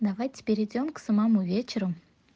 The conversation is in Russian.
давайте перейдём к самому вечеру